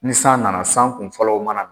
Ni san nana san kunfɔlɔw mana